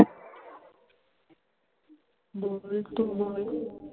तू बोल.